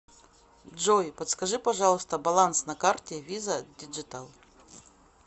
джой подскажи пожалуйста баланс на карте виза диджитал